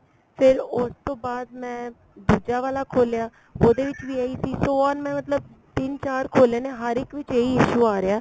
ਫੇਰ ਉਸ ਤੋਂ ਬਾਅਦ ਮੈਂ ਦੂਜਾ ਵਾਲਾ ਖੋਲਿਆ ਉਹਦੇ ਵਿੱਚ ਵੀ ਇਹੀ ਸੀ so ਹੁਣ ਮਤਲਬ ਤਿੰਨ ਚਾਰ ਖੋਲੇ ਨੇ ਹਰ ਇੱਕ ਵਿੱਚ ਇਹੀ issue ਆ ਰਿਹਾ